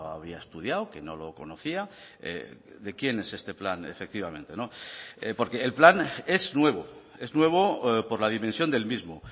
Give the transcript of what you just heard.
había estudiado que no lo conocía de quién es este plan efectivamente no porque el plan es nuevo es nuevo por la dimensión del mismo